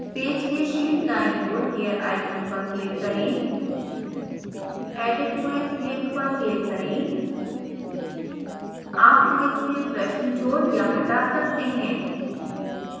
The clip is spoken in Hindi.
पेज के शीर्ष दाईं ओर gear icon पर click करें edit quiz link पर click करें आप quiz से प्रश्न जोड़ या हटा सकते हैं